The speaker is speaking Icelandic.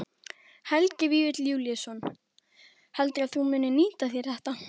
Helgi Vífill Júlíusson: Heldurðu að þú munir nýta þér þetta?